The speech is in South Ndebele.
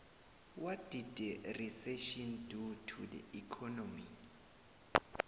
what did the recession do to the economy